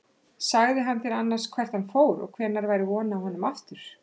Sagði hann þér annars hvert hann fór og hvenær væri von á honum aftur?